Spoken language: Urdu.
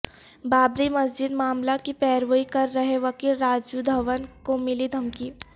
بابری مسجد معاملہ کی پیروی کر رہے وکیل راجیو دھون کو ملی دھمکی